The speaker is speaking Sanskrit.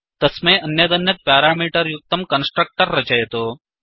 तस्मै अन्यदन्यत् प्यारामीटर् युक्तं कन्स्ट्रक्टर् रचयतु